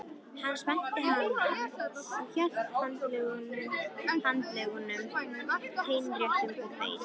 Hann spennti hanann og hélt handleggnum teinréttum og beið.